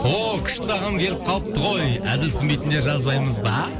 ооо күшті ағам келіп қалыпты ғой әзіл түсінбейтіндер жазбаймыз ба